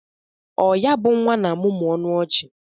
O ya bụ nwa na-amụmụ ọnụ ọchị?